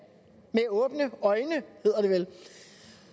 med åbne øjne hedder det vel